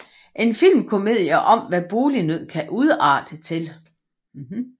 En filmkomedie om hvad bolignød kan udarte til